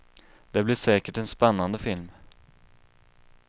Det blir säkert en spännande film.